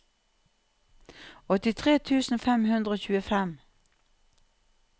åttitre tusen fem hundre og tjuefem